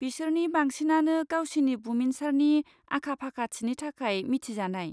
बिसोरनि बांसिनानो गावसिनि बुमिनसारनि आखा फाखाथिनि थाखाय मिथिजानाय।